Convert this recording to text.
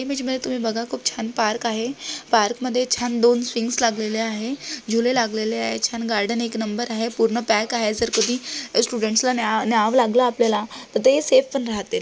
Image मध्ये तुम्ही बघा खूप छान पार्क आहे पार्क मध्ये छान दोन स्विंग्स लागलेल्या आहे. झुले लागलेल्या आहे छान गार्डन एक नंबर आहे. पूर्ण पॅक आहे जर कधी स्टुडेंट्सला न्या न्यावलागल आपल्याला तर ते सेफ पण राहतिल.